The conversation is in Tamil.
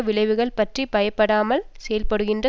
விளைவுகள் பற்றி பயப்படாமல் செயல்படுகின்ற